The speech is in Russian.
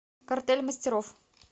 картель мастеров